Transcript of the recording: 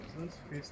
Reala baxırsan?